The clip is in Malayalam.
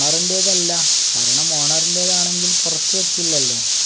ഓണറിന്റേത് അല്ല കാരണം ഓണറിന്റേതാണെങ്കിൽ പുറത്തു വയ്ക്കില്ലല്ലോ.